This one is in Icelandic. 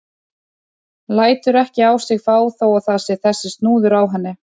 Lætur ekki á sig fá þó að það sé þessi snúður á henni.